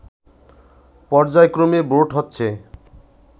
পর্যায়ক্রমে ভোট হচ্ছে